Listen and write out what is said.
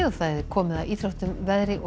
komið að íþróttum veðri og